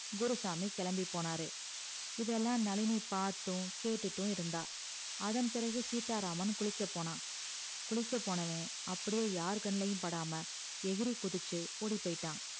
குருசாமி கிளம்பி போனாறு இதெல்லாம் நழினி பாத்தும் கேட்டுட்டு இருந்தா அதன் பிறகு சீத்தாராமன் குளிக்க போனா குளிக்க போனவ அப்டியே யார் கண்ளையும் படாம எகுறி குதிச்சி ஓடி போயிட்டான்